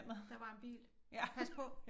Der var en bil pas på